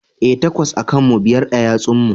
E, takwas a kan mu, biyar a yatsun mu.